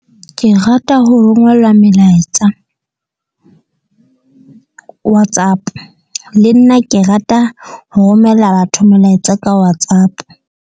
Ke rata ho rongelwa melaetsa WhatsApp, le nna ke rata ho romela batho melaetsa ka WhatsApp.